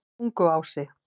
Tunguási